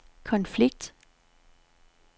konflikt